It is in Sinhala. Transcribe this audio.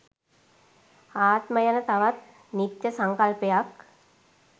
ආත්ම යන තවත් නිත්‍ය සංකල්පයක්